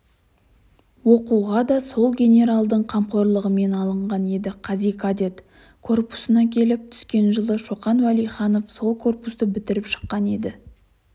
оқуға да сол генералдың қамқорлығымен алынған еді қази кадет корпусына келіп түскен жылы шоқан уәлиханов сол корпусты бітіріп шыққан еді